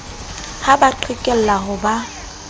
ha ba qhekelle ha ba